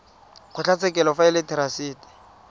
kgotlatshekelo fa e le therasete